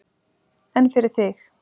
En fyrir þig?